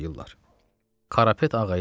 Adamı əl üstü tovlayırlar.